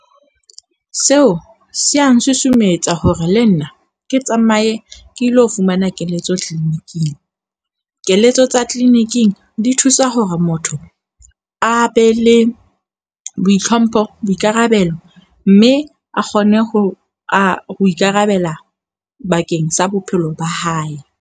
Seo se ya nsusumetsa hore le nna ke tsamaye ke ilo fumana keletso clinic-ng Keletso tsa clinic-ing di thusa hore motho a be le boitlhompho, boikarabelo. Mme a kgone ho a ho ikarabella bakeng sa bophelo ba hae.